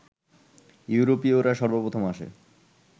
ইউরোপীয়রা সর্বপ্রথম আসে